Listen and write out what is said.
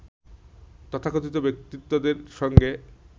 তথাকথিত ব্যক্তিত্বদের সঙ্গে